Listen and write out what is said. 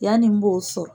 Yani n b'o sɔrɔ